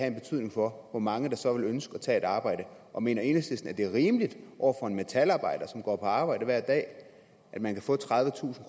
en betydning for hvor mange der så vil ønske at tage et arbejde og mener enhedslisten at det er rimeligt over for en metalarbejder som går på arbejde hver dag at man kan få tredivetusind